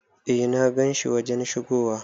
Eh na gan shi wajen shigowa.